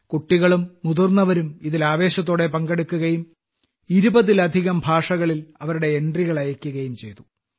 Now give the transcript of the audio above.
കുട്ടികളും മുതിർന്നവരും ഇതിൽ ആവേശത്തോടെ പങ്കെടുക്കുകയും 20ലധികം ഭാഷകളിൽ അവരുടെ എൻട്രികൾ അയക്കുകയും ചെയ്തു